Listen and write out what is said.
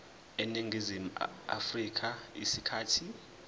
eningizimu afrika isikhathi